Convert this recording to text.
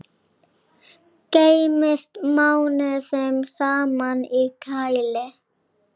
Geymist mánuðum saman í kæli.